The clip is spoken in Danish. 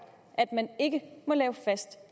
at man ikke må lave fast